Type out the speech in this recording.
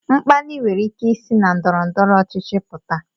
Mkpali nwere ike isi na ndọrọ ndọrọ ọchịchị pụta